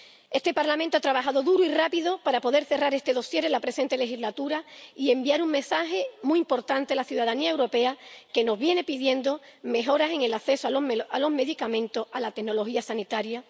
Este Parlamento ha trabajado duro y rápido para poder cerrar este dosier en la presente legislatura y enviar un mensaje muy importante a la ciudadanía europea, que nos viene pidiendo mejoras en el acceso a los medicamentos, a la tecnología sanitaria